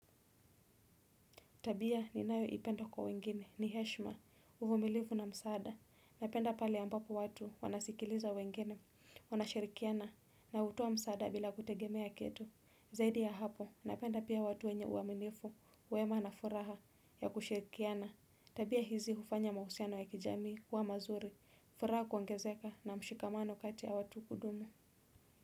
Tabia ninayo ipenda kwa wengine ni heshma, uvumilivu na msaada. Napenda pale ambapo watu wanasikiliza wengine, wanashirikiana na utowa msaada bila kutegemea kitu. Zaidi ya hapo, napenda pia watu wenye uaminifu, uema na furaha ya kushirikiana. Tabia hizi ufanya mausiano ya kijamii kuwa mazuri, furaha kuongezeka na mshikamano kati ya watu kudumu.